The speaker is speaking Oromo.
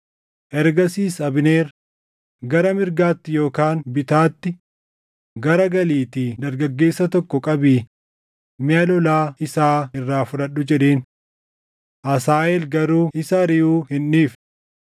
Ergasiis Abneer, “Gara mirgaatti yookaan bitaatti garagaliitii dargaggeessa tokko qabii miʼa lolaa isaa irraa fudhadhu” jedheen. Asaaheel garuu isa ariʼuu hin dhiifne.